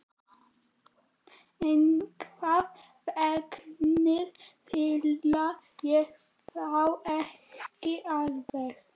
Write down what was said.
Einhvern veginn fíla ég þá ekki alveg.